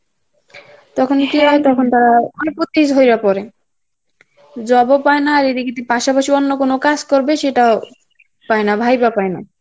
তখন কী হয় , তখন তারা রা অনেক উত্তেজিত হইয়া পরে job ও পায়না এদিকে তুই পাশাপাশি অন্য কোন কাজ করবে সেটাও পায়না, ভাইবা পায় না.